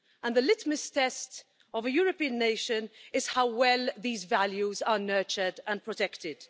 The litmus test of a European nation is how well these values are nurtured and protected.